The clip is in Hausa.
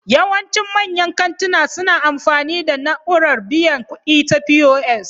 Yawancin manyan kantina suna amfani da na'urar biyan kuɗi ta POS